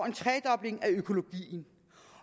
en tredobling af økologien